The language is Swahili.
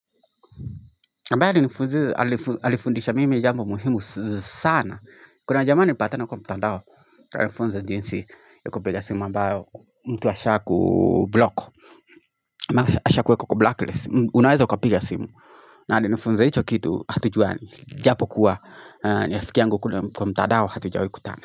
Mbali alifundisha mimi jambo muhimu sana. Kuna jamaa nilipatana kwa mtadao, alinifunza jinsi yukupiga simu ambayo mtu asha kublock. Ama asha kuweka kwa blacklist. Unaweza ukapiga simu. Na alifunza hicho kitu hatujua japo kuwa ni rafiki yangu kwa mtadao hatujawai kutana.